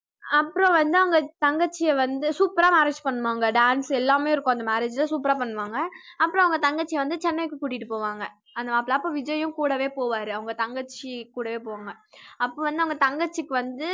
அப்புறம் வந்து அவங்க தங்கச்சிய வந்து super ஆ marriage பண்ணுவாங்க dance எல்லாமே இருக்கும் அந்த marriage ல super ஆ பண்ணுவாங்க அப்புறம் அவங்க தங்கச்சி வந்து சென்னைக்கு கூட்டிட்டு போவாங்க அந்த மாப்பிள்ளை அப்ப விஜய்யும் கூடவே போவாரு அவங்க தங்கச்சி கூடவே போவாங்க அப்ப வந்து அவங்க தங்கச்சிக்கு வந்து